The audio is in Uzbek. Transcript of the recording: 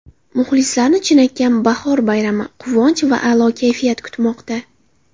Muxlislarni chinakam bahor bayrami, quvonch va a’lo kayfiyat kutmoqda!